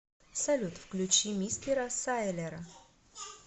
салют включи мистера сайлера